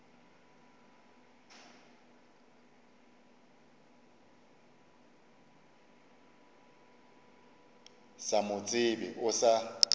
sa mo tsebe o sa